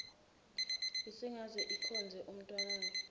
isingaze ikhonze umntanayo